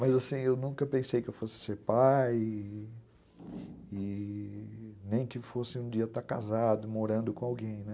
Mas, assim, eu nunca pensei que eu fosse ser pai e nem que fosse um dia estar casado, morando com alguém, né?